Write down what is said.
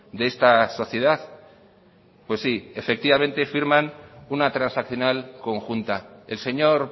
de esta sociedad pues sí efectivamente firman una transaccional conjunta el señor